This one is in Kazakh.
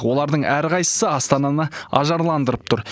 олардың әрқайсысы астананы ажарландырып тұр